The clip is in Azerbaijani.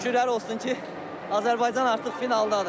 Şükürlər olsun ki, Azərbaycan artıq finaldadır.